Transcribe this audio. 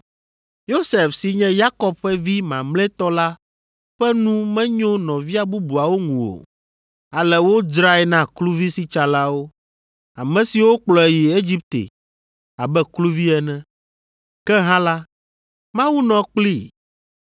“Yosef si nye Yakob ƒe vi mamlɛtɔ la ƒe nu menyo nɔvia bubuawo ŋu o, ale wodzrae na kluvisitsalawo, ame siwo kplɔe yi Egipte abe kluvi ene. Ke hã la, Mawu nɔ kplii